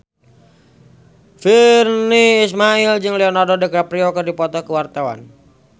Virnie Ismail jeung Leonardo DiCaprio keur dipoto ku wartawan